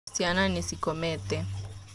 Ciana nĩcikomete